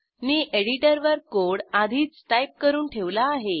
मी एडिटरवर कोड आधीच टाईप करून ठेवला आहे